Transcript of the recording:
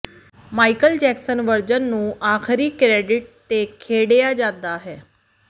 Michael Jackson version ਨੂੰ ਆਖਰੀ credit ਤੇ ਖੇਡਿਆ ਜਾਂਦਾ ਹੈ